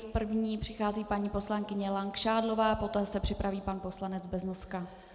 S první přichází paní poslankyně Langšádlová, poté se připraví pan poslanec Beznoska.